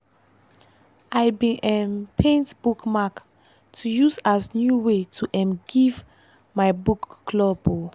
i bin um paint bookmark to use as new way to um give to my book club. um